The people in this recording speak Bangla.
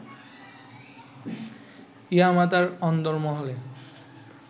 ইয়ামা তার অন্দরমহলে